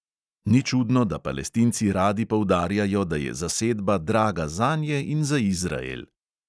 Ni čudno, da palestinci radi poudarjajo, da je zasedba draga zanje in za izrael.